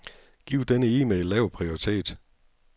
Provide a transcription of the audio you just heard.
Giv denne e-mail lav prioritet.